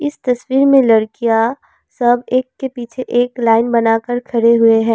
इस तस्वीर में लड़कियां सब एक के पीछे एक लाइन बना के खरे हुए हैं।